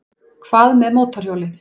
Hvað með mótorhjólið?